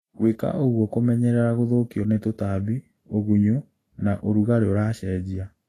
Gwĩka ũguo kũmenyerera gũthũkio nĩ tũtambi, ũgunyu na ũrugalĩ ũracenjia